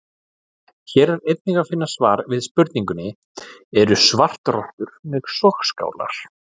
Hér er einnig að finna svar við spurningunni: Eru svartrottur með sogskálar?